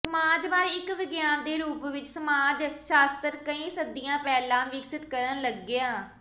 ਸਮਾਜ ਬਾਰੇ ਇੱਕ ਵਿਗਿਆਨ ਦੇ ਰੂਪ ਵਿੱਚ ਸਮਾਜ ਸ਼ਾਸਤਰ ਕਈ ਸਦੀਆਂ ਪਹਿਲਾਂ ਵਿਕਸਤ ਕਰਨ ਲੱਗਿਆ